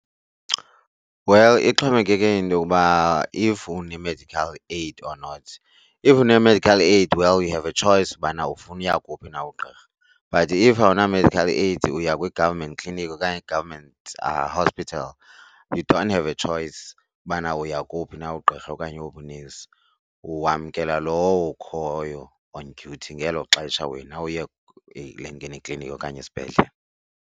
Well, ixhomekeke into yokuba if une-medical aid or not. If une-medical aid, well, you have a choice ubana ufuna uya kuwuphi na ugqirha but if awuna-medical aid uya kwi-government clinic okanye i-government hospital you don't have a choice ubana uya kowuphi na ugqirha okanye owuphi unesi, wamkela lowo ukhoyo on duty ngelo xesha wena uye kule kliniki okanye esibhedlele.